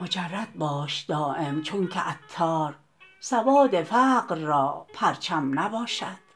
مجرد باش دایم چونکه عطار سوار فقر را پرچم نباشد